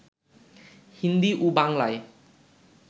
হিন্দী ও বাংলায়